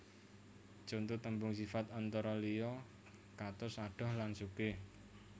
Conto tembung sifat antara liya katos adoh lan sugih